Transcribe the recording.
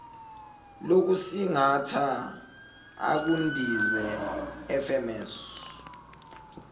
lokusingatha ukundiza fms